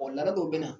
laada dɔw be na